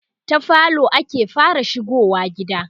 ta falo ake fara shigowa gida